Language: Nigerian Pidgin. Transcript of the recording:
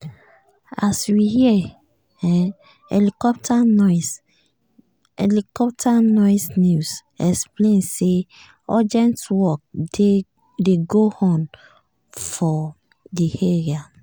as we hear helicopter noise news explain say urgent work dey go on for di area.